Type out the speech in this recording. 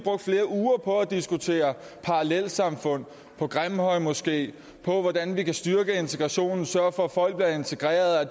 og at diskutere parallelsamfund grimhøjmoskeen og hvordan vi kan styrke integrationen og sørge for at folk bliver integrerede og